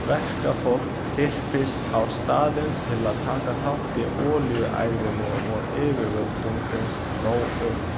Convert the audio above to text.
Verkafólk þyrpist á staðinn til að taka þátt í olíuæðinu og yfirvöldum finnst nóg um.